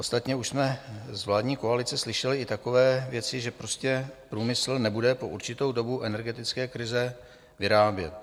Ostatně už jsme z vládní koalice slyšeli i takové věci, že prostě průmysl nebude po určitou dobu energetické krize vyrábět.